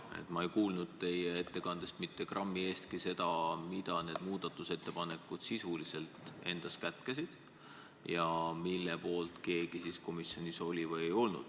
Aga ma ei kuulnud teie ettekandes grammi eestki seda, mida need muudatusettepanekud endas sisuliselt kätkesid ja mille poolt keegi komisjonis oli või ei olnud.